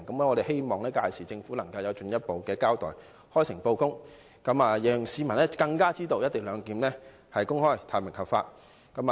我們希望政府屆時能作進一步交代，開誠布公，讓市民更清楚知道"一地兩檢"是公開、透明和合法的。